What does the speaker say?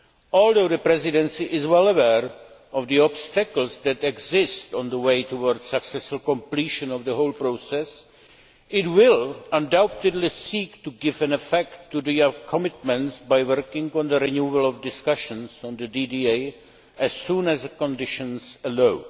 Although the Presidency is well aware of the obstacles that exist on the way toward successful completion of the whole process, it will undoubtedly seek to give an effect to these commitments by working on the renewal of discussions on the DDA as soon as the conditions allow.